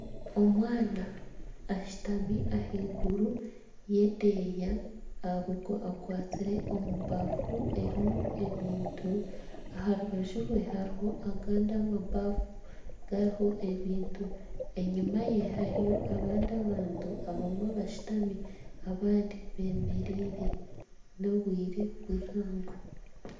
Omwana ashutami ahaiguru y'edeeya akwatsire omu baafu erimu ebintu. Aha rubaju rwe hariho agandi amabaafu gariho ebintu. Enyima ye hariyo abandi abantu abamwe bashutami abandi bemereire n'obwire bw'eihangwe.